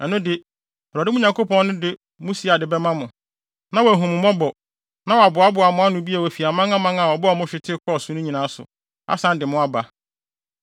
ɛno de, Awurade, mo Nyankopɔn no, de mo siade bɛma mo, na wahu mo mmɔbɔ, na waboaboa mo ano bio afi amanaman a ɔbɔɔ mo hwete kɔɔ so no nyinaa so, asan de mo aba.